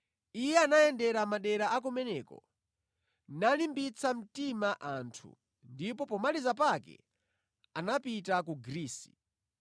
Iye anayendera madera a kumeneko, nalimbitsa mtima anthu, ndipo pomaliza pake anapita ku Grisi.